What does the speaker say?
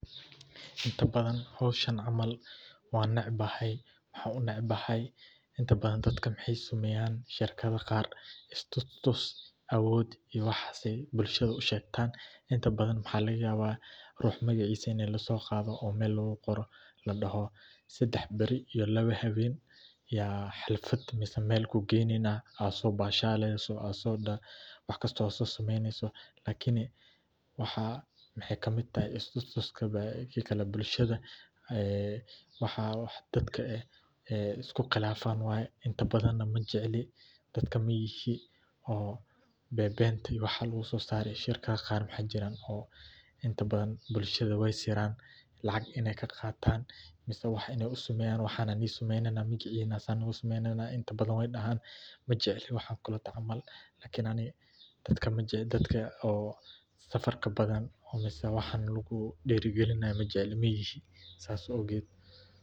Inta badan howshan camal waa necbahay waxaa u necbahay inta badan dadkaa maxee shaqeyan istutus awood ayee bulshaada u shegtan inta badan maxaa laga yawa rux magacisa in laso qadho ladaho sadax bari ama lawa bari aya meel ku geyneyna si aad uso bashasho, lakini maxee ka miid tahay istutuska bulshaada ee waxan waa waxa dadka ee isku qilafan, shirkaado maxaa jiran inta badan dadka weey qilafan lacag ayey ka qatan waxana nisameynaya inta badan wedahan, lakin aniga majecli dadka safarka badan waxan lagu dira galinaya majecli.